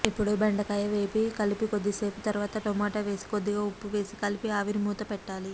ఇపుడు బెండకాయ వేసి కలిపి కొద్దిసేపు తరువాత టొమాటో వేసి కొద్దిగా ఉప్పు వేసి కలిపి ఆవిరి మూత పెట్టాలి